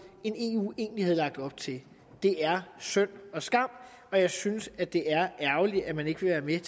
end eu egentlig har lagt op til det er synd og skam og jeg synes at det er ærgerligt at man ikke vil